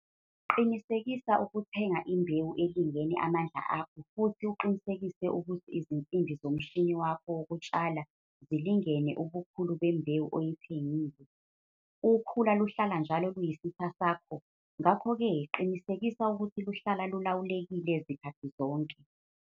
Qinisekisa ukuthenga imbewu elingene amandla akho futhi uqinisekise ukuthi izinsimbi zomshini wakho wokutshala zilingene ubukhulu bembewu oyithengile. Ukhula luhlala njalo luyisitha sakho ngakho-ke qinisekisa ukuthi luhlala lulawulekile zikhathi zonke.